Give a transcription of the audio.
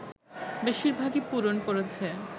বেশির ভাগই পূরণ করেছে